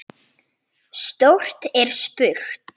Stórt er spurt!